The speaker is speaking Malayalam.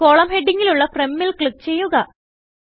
കോളം ഹെഡിങ്ങിലുള്ളFromൽ ക്ലിക്ക് ചെയ്യുക